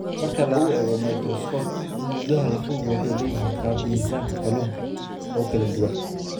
Marka lagu eego mikroskoob, nudaha lafuhu waxay leeyihiin qaab "miisaanka kalluunka" oo kala duwan.